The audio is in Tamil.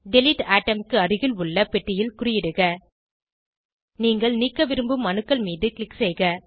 டிலீட் அட்டோம் க்கு அருகில் உள்ள பெட்டியில் குறியிடுக நீங்கள் நீக்க விரும்பும் அணுக்கள் மீது க்ளிக் செய்க